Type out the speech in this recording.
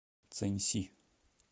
цэньси